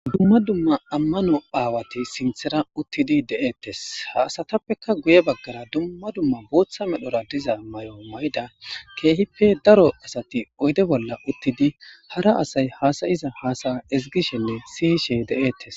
Duma duma amanobawati sintara utidi dee's ha assatappe guye bagara duma duma bota mayora diza mayo mayiza kehippe daro asati oyde bolla utidi hara asay hasayizachasaya ezgishe siye she detes.